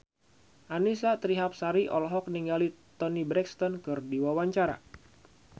Annisa Trihapsari olohok ningali Toni Brexton keur diwawancara